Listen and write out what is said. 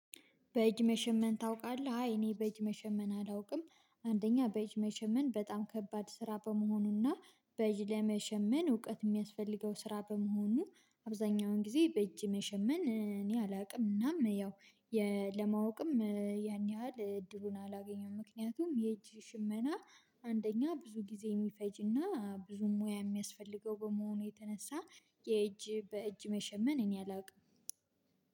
በእጅ መሸመን ታውቃለህ? አይ እኔ በእጅ መሸመን አላውቅም። አንደኛ በእጅ መሸመን በጣም ከባድ ስራ በመሆኑና በእጅ ለመሸመን እውቀት እሚያስፈልገው ስራ በመሆኑ አብዛኛውን ጊዜ በእጅ መሸመን እኔ አላውቅም። እናም ያው ለማወቅም ያን ያህል እድሉን አላገኘውም ምክንያቱም የእጅ ሽመና። አንደኛ ብዙ ጊዜ እሚፈጅና ብዙ ሙያ እሚያስፈልገው በመሆኑ የተነሳ የእጅ በእጅ መሸመን እኔ አላውቅም።